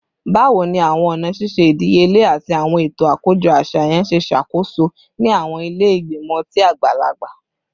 Bawo ni awọn ọna ṣiṣe idiyele ati awọn eto akojọ aṣayan ṣe ṣakoso ni awọn ile igbimọ ọti agbalagba?